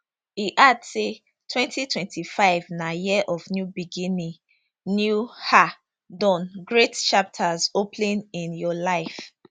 e add say 2025 na year of new beginning new um dawn great chapters opening in your life